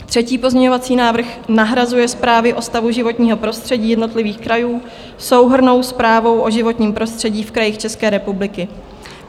Třetí pozměňovací návrh nahrazuje zprávy o stavu životního prostředí jednotlivých krajů souhrnnou zprávou o životním prostředí v krajích České republiky.